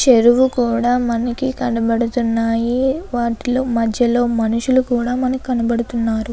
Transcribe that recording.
చెరువు కూడా మనకి కనబడుతున్నాయి వాటిలో మధ్యలో మనుషులు కూడ మనకు కనబడుతున్నారు.